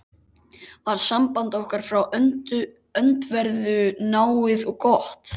var samband okkar frá öndverðu náið og gott.